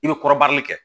I bɛ kɔrɔbari kɛ